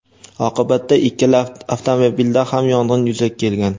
Oqibatda ikkala avtomobilda ham yong‘in yuzaga kelgan.